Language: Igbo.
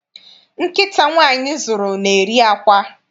Nkịta nwaanyị zụrụ, na-eri àkwá.